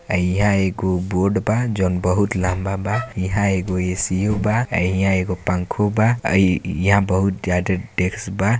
यहाँ एक बोर्ड बा जोन की बहुत लम्बा बा यहाँ एगो एसी बा यहाँ एगो पंखा बा यहाँ बहुत ज्यादा डेस्क बा।